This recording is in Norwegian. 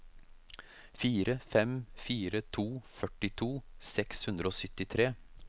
fire fem fire to førtito seks hundre og syttitre